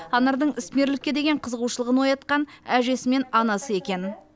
анардың ісмерлікке деген қызығушылығын оятқан әжесі мен анасы екен